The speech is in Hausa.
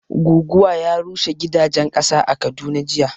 Goguwa ya rushe gidajen ƙasa a Kaduna jiya